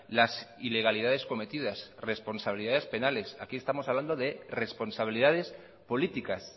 las ilegalidades cometidas responsabilidades penales aquí estamos hablando de responsabilidades políticas